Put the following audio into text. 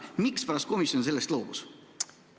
Mispärast komisjon sellest loobus?